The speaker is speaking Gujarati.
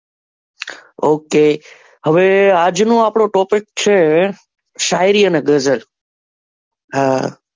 Okay, હવે આજનો આપણો topic છે શાયરી અને ગઝલ હા,